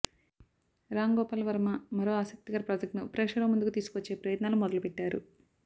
రామ్ గోపాల్ వర్మ మరో ఆసక్తికర ప్రాజెక్ట్ను ప్రేక్షకుల ముందుకు తీసుకొచ్చే ప్రయత్నాలు మొదలుపెట్టారు